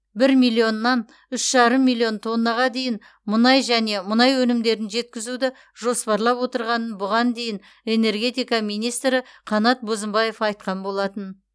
бір миллионнан үш жарым миллион тоннаға дейін мұнай және мұнай өнімдерін жеткізуді жоспарлап отырғанын бұған дейін энергетика министрі қанат бозымбаев айтқан болатын